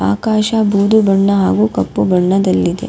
ಆಕಾಶ ಬೂದು ಬಣ್ಣ ಹಾಗೂ ಕಪ್ಪು ಬಣ್ಣದಲ್ಲಿದೆ.